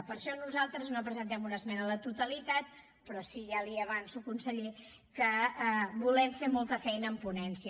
per això nosaltres no presentem una esmena a la totalitat però sí ja li avanço conseller que volem fer molta feina en ponència